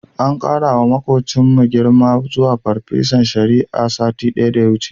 An ƙarawa maƙocinmu girma zuwa farfesan shari'a, satin da ya wuce.